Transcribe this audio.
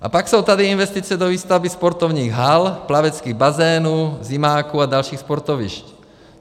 A pak jsou tady investice do výstavby sportovních hal, plaveckých bazénů, zimáků a dalších sportovišť.